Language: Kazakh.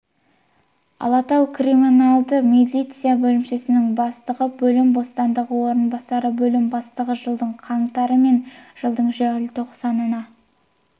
алатау криминалдық милиция бөлімшесінің бастығы бөлім бастығының орынбасары бөлім бастығы жылдың қаңтары мен жылдың желтоқсанына